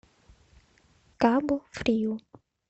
кабу фриу